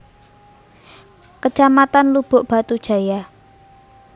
Kecamatan Lubuk Batu Jaya